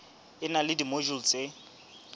e na le dimojule tse